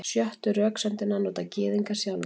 Sjöttu röksemdina nota Gyðingar sjálfir.